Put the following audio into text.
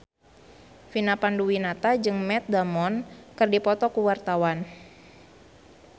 Vina Panduwinata jeung Matt Damon keur dipoto ku wartawan